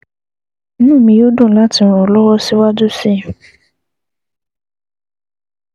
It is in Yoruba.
Inú mi yóò dùn láti ràn ọ́ lọ́wọ́ síwájú sí i